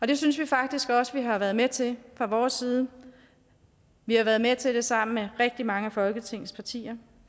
det synes vi faktisk også at vi har været med til fra vores side vi har været med til det sammen med rigtig mange af folketingets partier